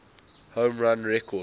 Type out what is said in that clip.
home run record